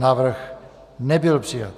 Návrh nebyl přijat.